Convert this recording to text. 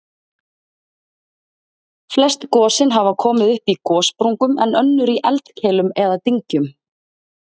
Flest gosin hafa komið upp í gossprungum en önnur í eldkeilum eða dyngjum.